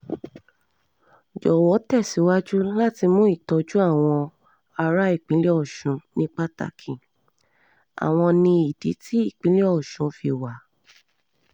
jọ̀wọ́ tẹ̀síwájú láti mú ìtọ́jú àwọn ará ìpínlẹ̀ ọ̀sùn ní pàtàkì àwọn ni ìdí tí ìpínlẹ̀ ọ̀sùn fi wà